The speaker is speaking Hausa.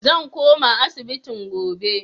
Zan koma asibitin gobe.